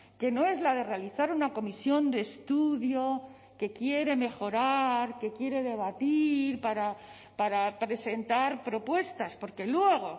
que no es la de realizar una comisión de estudio que quiere mejorar que quiere debatir para presentar propuestas porque luego